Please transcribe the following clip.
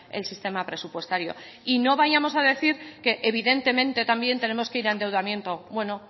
el sistema presupuestario y no vayamos a decir que evidentemente también tenemos que ir a endeudamiento bueno